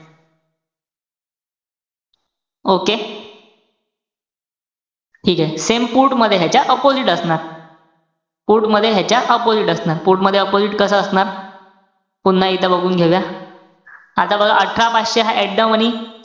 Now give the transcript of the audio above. Okay. ठीकेय. Same put मध्ये ह्याच्या opposite असणार. put मध्ये ह्याच्या opposite असणार. Put मध्ये opposite कस असणार? पुन्हा इथं बघून घेऊया. आता बघा अठरा पाचशे हा at the money.